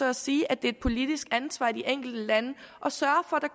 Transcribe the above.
at sige at det er et politisk ansvar i de enkelte lande at sørge